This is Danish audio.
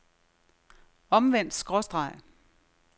omvendt skråstreg